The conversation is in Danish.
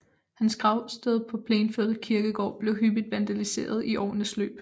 Hans gravsted på Plainfield kirkegård blev hyppigt vandaliseret i årenes løb